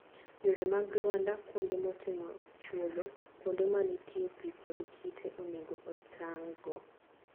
Yore mag lwanda, kuonde motimo chwodho, kuonde ma nitie pi kod kite, onego otang'go.